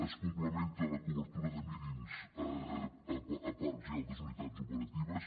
es complementa la cobertura de mínims a parcs i altres unitats operatives